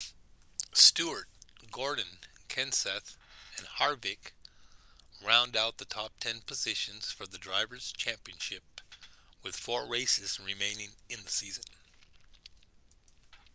stewart gordon kenseth and harvick round out the top-ten positions for the drivers' championship with four races remaining in the season